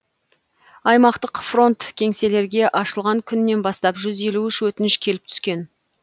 аймақтық фронт кеңселерге ашылған күннен бастап жүз елу үш өтініш келіп түскен